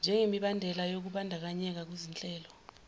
njengemibandela yokumbandakanyeka kuzinhlelo